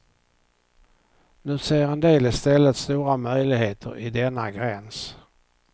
Nu ser en del i stället stora möjligheter i denna gräns.